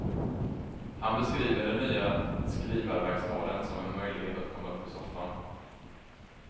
Han beskriver den nya skrivarverkstaden som en möjlighet att komma upp ur soffan.